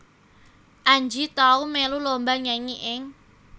Anji tau melu lomba nyanyi ing